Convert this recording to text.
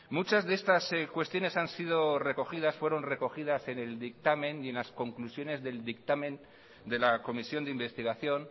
muchas de estas cuestiones han sido recogidas fueron recogidas en el dictamen y en las conclusiones del dictamen de la comisión de investigación